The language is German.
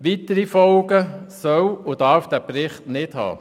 Weitere Folgen soll und darf dieser Bericht nicht haben.